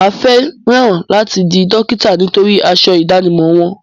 Mà á fẹ́ràn láti di dókítà nítorí aṣọ ìdánimọ̀ wọn.